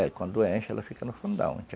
É, quando enche, ela fica no fundo da